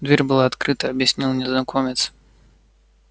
дверь была открыта объяснил незнакомец